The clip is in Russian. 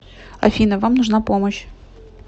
афина вам нужна помощь